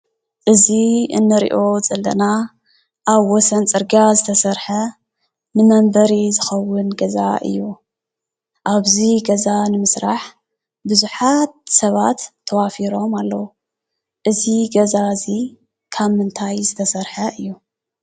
እዚ ንሪኦ ዘለና ኣብ ወሰን ፅርግያ ዝተሰርሐ ንመንበሪ ዝከውን ገዛ እዩ። ኣብዚ ገዛ ንምስራሕ ብዙሓት ሰባት ተዋፊሮም ኣለዉ ። እዚ ገዛ እዚ ካብ ምንታይ ዝተሰርሐ እዩ?